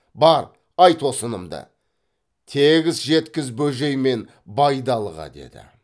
бар айт осынымды тегіс жеткіз бөжей мен байдалыға деді